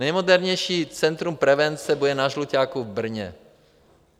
Nejmodernější centrum prevence bude na Žluťáku v Brně.